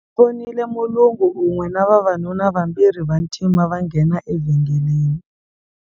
Vonile mulungu un'we na vavanuna vambirhi va Vantima va nghena evhengeleni.